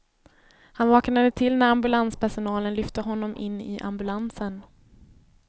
Han vaknade till när ambulanspersonalen lyfte honom in i ambulansen.